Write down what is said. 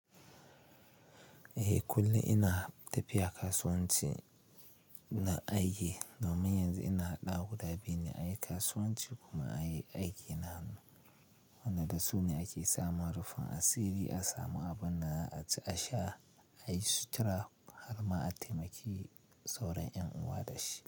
Eh kullum ina tafiya kasuwanci ina aiki domin yanzu ina haɗa guda biyu ne, ayi kasuwanci kuma ayi aiki na hanu. Wanda da su ne ake samun rufin asiri, a samu abin da za'a ci a sha, a yi sutura har ma a taimaki sauran ƴan uwa da shi.